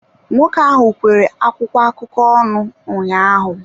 Nwoke ahụ kwere akwụkwọ akụkọ ọnụ ụnyaahụ.